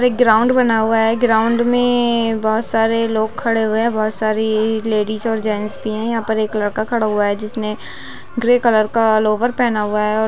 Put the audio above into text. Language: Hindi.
एक ग्राउन्ड बना हुआ है ग्राउन्ड मे बहोत सारे लोग खड़े हुए है बहोत सारी लैडीज और जैंट्स भी है यहाँ पर एक लड़का खड़ा हुआ है जिसने ग्रे कलर का लोअर पहना हुआ है।